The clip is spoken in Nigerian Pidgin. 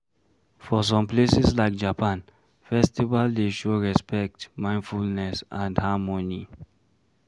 For some places like Japan festival dey show respect, mindfulness and harmony